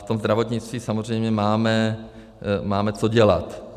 V tom zdravotnictví samozřejmě máme co dělat.